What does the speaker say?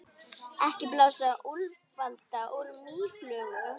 Ekki blása úlfalda úr mýflugu